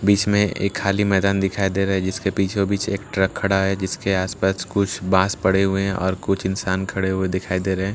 बीच में एक खाली मैदान दिखाई दे रहा है जिसके बीचों बीच एक ट्रक खड़ा है जिस पर कुछ बांस पड़े हुए हैं और कुछ इंसान खड़े हुए दिखाई दे रहे हैं --